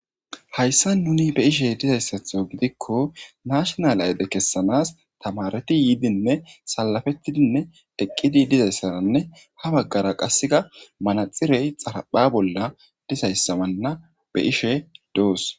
Hayssa nuni be ishe dizayssatho gidikko nashnal ayde kessanas tamareti yiidinne salafettidinne diqqidi dizayssaranne ha baggara qasseka manaxirey xarapha bolla dizayssamanna be ishe doos.